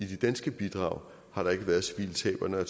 de danske bidrag har der ikke været civile tab og når jeg